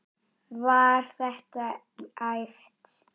Var þetta æft?